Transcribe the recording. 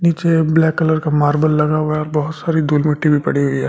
नीचे black colour का marble लगा हुआ है बहुत सारी धूल मिट्टी भी पड़ी हुई है।